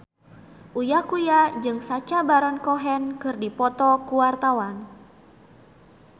Uya Kuya jeung Sacha Baron Cohen keur dipoto ku wartawan